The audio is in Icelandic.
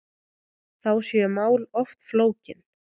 Þá séu mál oft flókin.